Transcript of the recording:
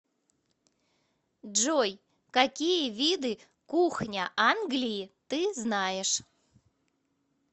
джой какие виды кухня англии ты знаешь